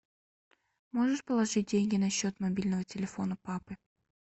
можешь положить деньги на счет мобильного телефона папы